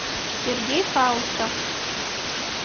сергей хаустов